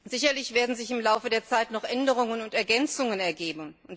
Sicherlich werden sich im Laufe der Zeit noch Änderungen und Ergänzungen ergeben.